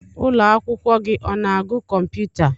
Ụlọ akwụkwọ gị ọ na-agu kọmputa?